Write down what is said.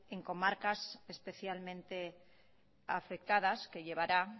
en comarcas especialmente afectadas que llevará